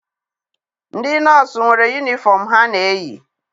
Ndị nọọsụ nwere yunifọm ha na-eyi.